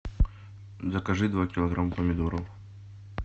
закажи два килограмма помидоров